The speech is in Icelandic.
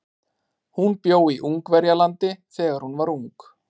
Hún bjó í Ungverjalandi þegar hún var ung.